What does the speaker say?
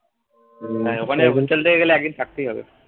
একদিন থাকতেই হবে